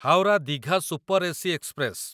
Howrah Digha super AC express